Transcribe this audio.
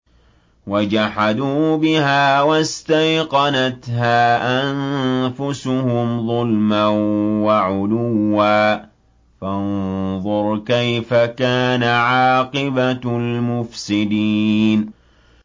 وَجَحَدُوا بِهَا وَاسْتَيْقَنَتْهَا أَنفُسُهُمْ ظُلْمًا وَعُلُوًّا ۚ فَانظُرْ كَيْفَ كَانَ عَاقِبَةُ الْمُفْسِدِينَ